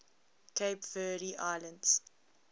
cape verde islands